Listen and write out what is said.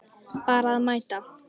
Bara mæta.